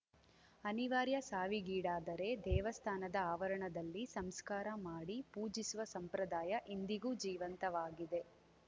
ಅನಿವಾರ್ಯ ಸಾವಿಗೀಡಾದರೆ ದೇವಸ್ಥಾನದ ಆವರಣದಲ್ಲಿ ಸಂಸ್ಕಾರ ಮಾಡಿ ಪೂಜಿಸುವ ಸಂಪ್ರದಾಯ ಇಂದಿಗೂ ಜೀವಂತವಾಗಿದೆ